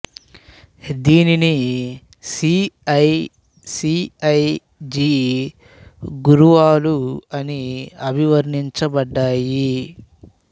దీనిని C I C I G గురువాలు అని అభివర్ణించబడ్డాయి